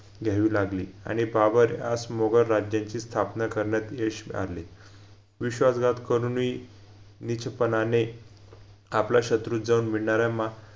घ्यावी लागली आणि भाबर यास मोगल राज्यची स्थापना करण्यात यश आले विश्वासघात करूनही नीचपणाने आपल शत्रूत जाऊन मिडनाऱ्या मा